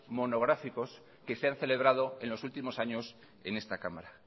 monográficos que se han celebrado en los últimos años en esta cámara